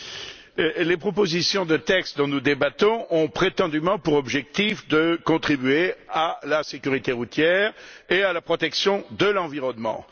Monsieur le Président, les propositions de texte dont nous débattons ont prétendument pour objectif de contribuer à la sécurité routière et à la protection de l'environnement.